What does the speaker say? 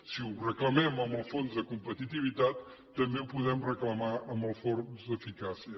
si ho reclamem en el fons de competitivitat també ho podem reclamar amb el fons d’eficàcia